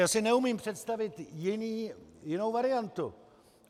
Já si neumím představit jinou variantu.